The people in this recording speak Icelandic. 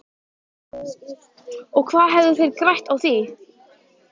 Og hvað hefðu þeir grætt á því?